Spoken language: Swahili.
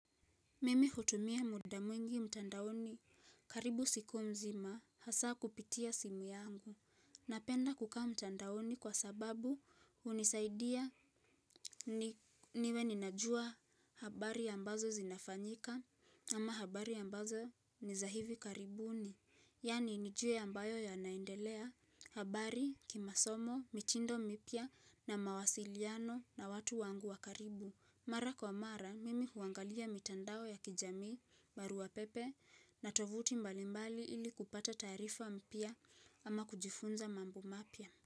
Mimi hutumia muda mwingi mtandaoni karibu siku mzima hasa kupitia simu yangu. Napenda kukaa mtandaoni kwa sababu unisaidia niwe ninajua habari ambazo zinafanyika ama habari ambazo ni za hivi karibuni. Yani nijue ambayo yanaendelea habari kimasomo, mitindo mipya na mawasiliano na watu wangu wa karibu. Mara kwa mara, mimi huangalia mitandao ya kijami, barua pepe na tovuti mbalimbali ili kupata taarifa mpya ama kujifunza mambu mapia.